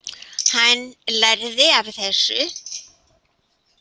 Hann lærði af þessu.